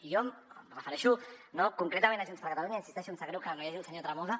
i jo em refereixo concretament a junts per catalunya i hi insisteixo em sap greu que no hi hagi el senyor tremosa